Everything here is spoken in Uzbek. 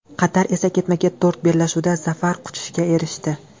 Qatar esa ketma-ket to‘rt bellashuvda zafar quchishga erishdi.